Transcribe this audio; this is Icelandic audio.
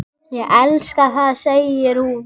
Ég elska það, segir hún.